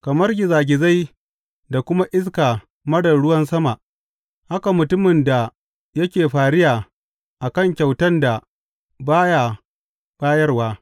Kamar gizagizai da kuma iska marar ruwan sama haka mutumin da yake fariya a kan kyautan da ba ya bayarwa.